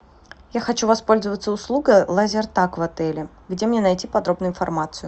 я хочу воспользоваться услугой лазертаг в отеле где мне найти подробную информацию